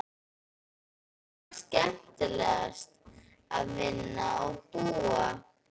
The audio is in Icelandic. Hér er líka skemmtilegt að vinna og búa.